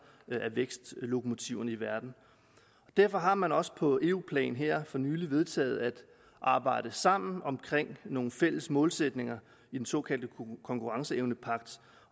af verdens vækstlokomotiver derfor har man også på eu plan her for nylig vedtaget at arbejde sammen om nogle fælles målsætninger i den såkaldte konkurrenceevnepagt